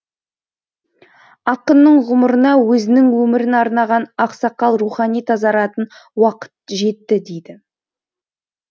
ақынның ғұмырына өзінің өмірін арнаған ақсақал рухани тазаратын уақыт жетті дейді